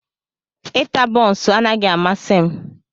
Ita bonsuu anaghị amasị m.